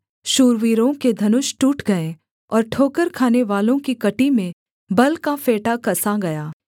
शूरवीरों के धनुष टूट गए और ठोकर खानेवालों की कमर में बल का फेंटा कसा गया